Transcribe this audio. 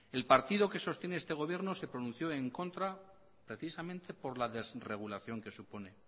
el partido que sostiene este gobierno se pronunció en contra precisamente por la desregulación que supone